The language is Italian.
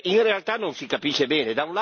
In realtà non si capisce bene.